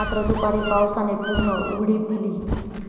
मात्र, दुपारी पावसाने पूर्ण उघडीप दिली.